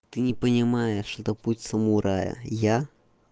ты не понимаешь это путь самурая я